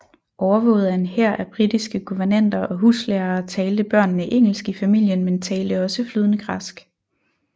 Overvåget af en hær af britiske guvernanter og huslærere talte børnene engelsk i familien men talte også flydende græsk